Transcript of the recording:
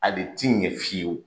A de tɛ ɲɛ fiyewu